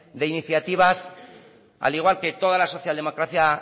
de iniciativas al igual que toda la social democracia